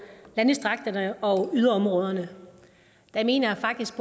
landdistrikterne og yderområderne der mener jeg faktisk